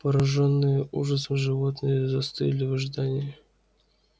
поражённые ужасом животные застыли в ожидании